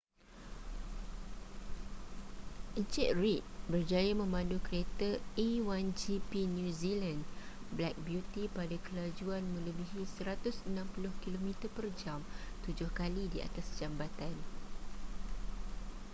en reid berjaya memandu kereta a1gp new zealand black beauty pada kelajuan melebihi 160km/j tujuh kali di atas jambatan